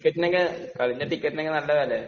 ടിക്കറ്റിനൊക്കെ..കളീന്റെ ടിക്കറ്റിനൊക്കെ നല്ല വിലയ..